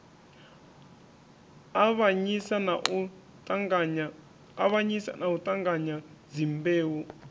avhanyisa na u ṱanganya dzimbeu